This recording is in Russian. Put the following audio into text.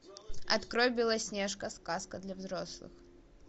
открой белоснежка сказка для взрослых